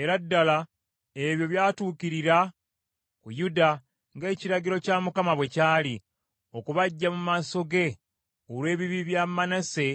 Era ddala ebyo by’atuukirira ku Yuda ng’ekiragiro kya Mukama bwe kyali, okubaggya mu maaso ge olw’ebibi bya Manase